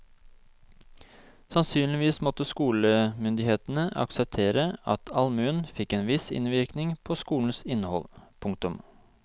Sannsynligvis måtte skolemyndighetene akseptere at allmuen fikk en viss innvirkning på skolens innhold. punktum